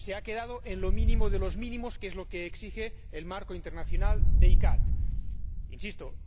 Se ha quedado en lo mínimo de los mínimos, que es lo que exige el marco internacional de la CICAA.